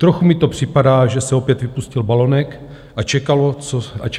Trochu mi to připadá, že se opět vypustil balonek a čekalo se, co nastane.